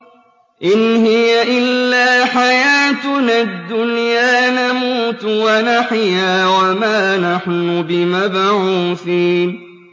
إِنْ هِيَ إِلَّا حَيَاتُنَا الدُّنْيَا نَمُوتُ وَنَحْيَا وَمَا نَحْنُ بِمَبْعُوثِينَ